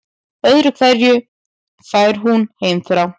Öðru hverju fær hún heimþrá.